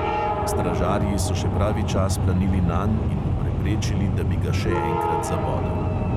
Stražarji so še pravi čas planili nanj in mu preprečili, da bi ga še enkrat zabodel.